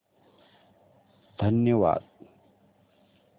धन्यवाद